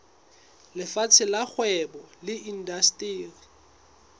lefapheng la kgwebo le indasteri